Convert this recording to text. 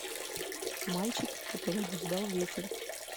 мальчик который обуздал ветер